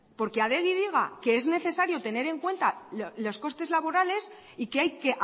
porque adegi diga que es necesario tener en cuenta los costes laborales y que hay que